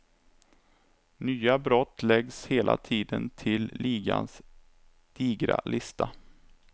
Nya brott läggs hela tiden till ligans digra lista.